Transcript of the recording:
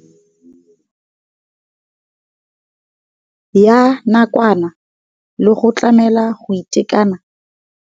Ya nakwana le go tlamela go itekanela ga barutwana.